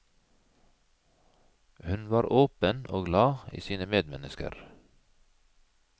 Hun var åpen og glad i sine medmennesker.